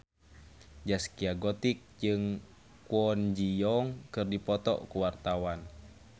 Zaskia Gotik jeung Kwon Ji Yong keur dipoto ku wartawan